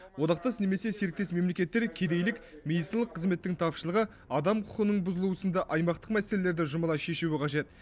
одақтас немесе серіктес мемлекеттер кедейлік медициналық қызметтің тапшылығы адам құқығының бұзылуы сынды аймақтық мәселелерді жұмыла шешуі қажет